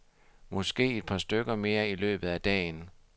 Måske et par stykker mere i løbet af dagen.